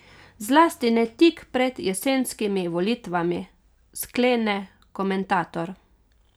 Zlasti ne tik pred jesenskimi volitvami, sklene komentator.